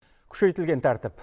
күшейтілген тәртіп